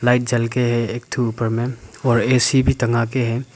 Light जल के है एक ठो ऊपर में और ए_सी भी टंगा के हैं।